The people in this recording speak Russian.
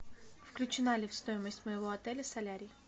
включена ли в стоимость моего отеля солярий